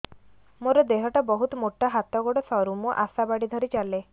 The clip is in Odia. ମୋର ଦେହ ଟା ବହୁତ ମୋଟା ହାତ ଗୋଡ଼ ସରୁ ମୁ ଆଶା ବାଡ଼ି ଧରି ଚାଲେ